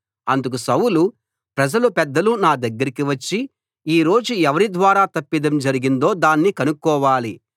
అందుకు సౌలు ప్రజల పెద్దలు నా దగ్గరకి వచ్చి ఈ రోజు ఎవరి ద్వారా తప్పిదం జరిగిందో దాన్ని కనుక్కోవాలి